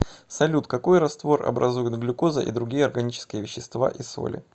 салют какой раствор образуют глюкоза и другие органические вещества и соли